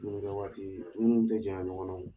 dumunikɛ waati minnu tɛ janya ɲɔgɔn na